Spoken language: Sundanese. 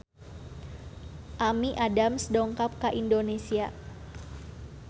Amy Adams dongkap ka Indonesia